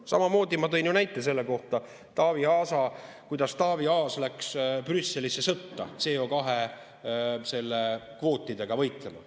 Samamoodi ma tõin ju näite selle kohta, kuidas Taavi Aas läks Brüsselisse sõtta CO2-kvootidega võitlema.